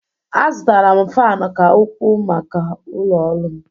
Azụtara m Faanụ ka ukwuu maka ụlọ ọrụ m.